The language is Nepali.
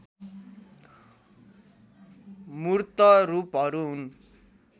मूर्त रूपहरू हुन्